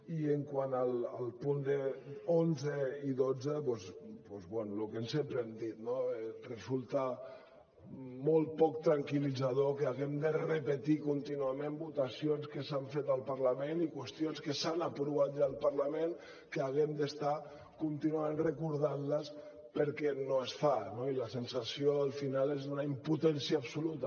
i quant als punts onze i dotze doncs bé el que sempre hem dit no resulta molt poc tranquil·litzador que haguem de repetir contínuament votacions que s’han fet al parlament i qüestions que s’han aprovat ja al parlament que haguem d’estar contínuament recordant les perquè no es fan no i la sensació al final és d’una impotència absoluta